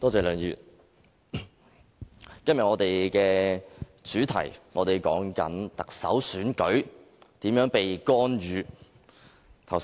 梁議員，我們今天討論的重點是特首選舉如何被干預。